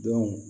Don